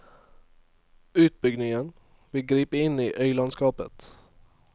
Utbyggingen vil gripe inn i øylandskapet.